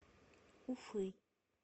уфы